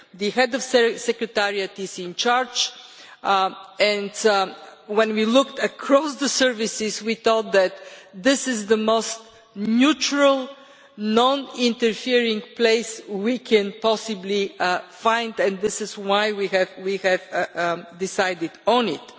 The head of the Secretariat is in charge, and when we looked across the services we thought that this is the most neutral, non interfering place we can possibly find, and this is why we have decided on it.